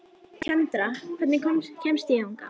Kendra, hvernig kemst ég þangað?